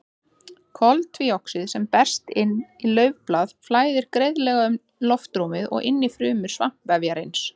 Koltvíoxíð sem berst inn í laufblaði flæðir greiðlega um loftrúmið og inn í frumur svampvefjarins.